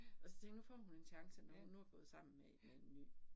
Og så tænkte, nu får hun en chance mere, nåt hun nu er gået sammen med med en ny